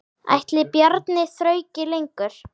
Ætli Bjarni þrauki lengur?